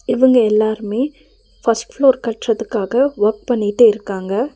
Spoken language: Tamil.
இவுங்க எல்லாருமே ஃபஸ்ட் ஃப்ளோர் கட்றதுக்காக ஒர்க் பண்ணிட்டு இருக்காங்க.